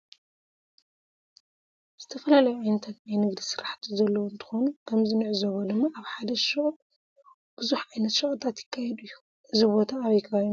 ዝተፈላለዩ ዓይነታት ናይ ንግዲ ስራሕቲ ዘለዎ እንተኮኑ ከምዚ ንዕዘቦ ድማ አብ ሓደ ሽቅ ብዝሕ ዓይነት ሸቀጣት ይካየድ እዩ። እዚ ቦታ አበይ ከባቢ ይመስለኩም?